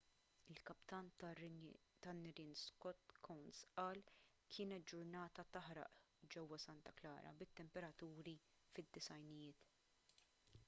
il-kaptan tan-nirien scott kouns qal kienet ġurnata taħraq ġewwa santa clara bit-temperaturi fid-90ijiet